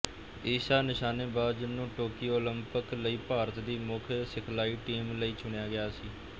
ਈਸ਼ਾ ਨਿਸ਼ਾਨੇਬਾਜ਼ ਨੂੰ Tokyo Olympic ਲਈ ਭਾਰਤ ਦੀ ਮੁੱਖ ਸਿਖਲਾਈ ਟੀਮ ਲਈ ਚੁਣਿਆ ਗਿਆ ਸੀ